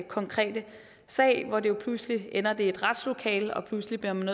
konkrete sag hvor det pludselig ender i et retslokale og pludselig bliver man